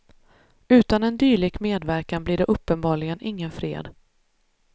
Utan en dylik medverkan blir det uppenbarligen ingen fred.